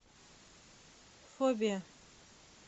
фобия